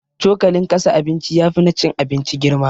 Cokalin kasa abinci yafi na cin abinci girma